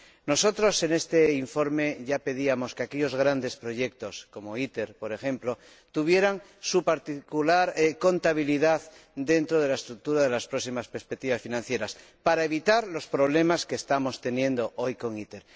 Nosotros, en este informe, ya pedíamos que aquellos grandes proyectos como ITER, por ejemplo, tuvieran su particular contabilidad dentro de la estructura de las próximas perspectivas financieras, para evitar los problemas que estamos teniendo hoy con ITER.